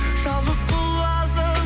жалғыз құлазып